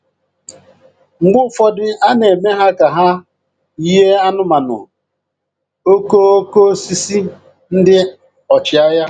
Mgbe ụfọdụ a na-eme ha ka ha yiē anụmanụ, okooko osisi, ndị ọchịagha